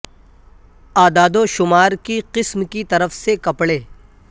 اعداد و شمار کی قسم کی طرف سے کپڑے